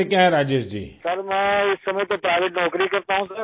Rajesh Prajapati sir, اس وقت تو میں پرائیویٹ نوکری کرتا ہوں سر